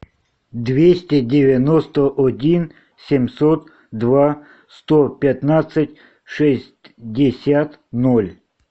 двести девяносто один семьсот два сто пятнадцать шестьдесят ноль